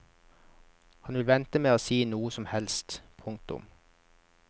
Han vil vente med å si noe som helst. punktum